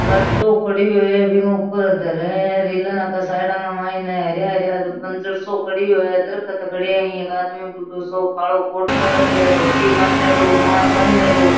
गाडो खडियो है बीके ऊपर धरे मायने हरया हरया बंजर सो खडियो है दरकत खड्या है एक आदमी बूढ़ो सो कालो कोट पैराख्यो है धोती बानेडो रुमाल बानेडो।